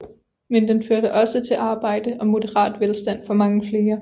Men den førte også til arbejde og moderat velstand for mange flere